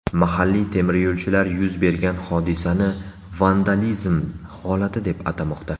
Mahalliy temiryo‘lchilar yuz bergan hodisani vandalizm holati deb atamoqda.